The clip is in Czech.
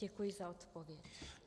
Děkuji za odpověď.